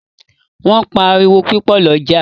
Wón pá àriwo pupo l’oja